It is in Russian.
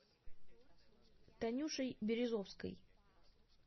танюшей березовской